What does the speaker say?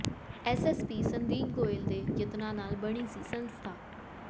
SSP Sandeep Goyal ਦੇ ਯਤਨਾਂ ਨਾਲ ਬਣੀ ਸੀ ਸੰਸਥਾ